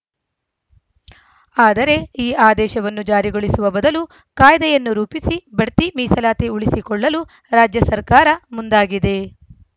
ಆದರೆ ಈ ಆದೇಶವನ್ನು ಜಾರಿಗೊಳಿಸುವ ಬದಲು ಕಾಯ್ದೆಯನ್ನು ರೂಪಿಸಿ ಬಡ್ತಿ ಮೀಸಲಾತಿ ಉಳಿಸಿಕೊಳ್ಳಲು ರಾಜ್ಯ ಸರ್ಕಾರ ಮುಂದಾಗಿದೆ